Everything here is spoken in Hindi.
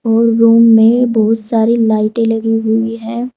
और रूम में बहुत सारी लाइटे लगी हुई है।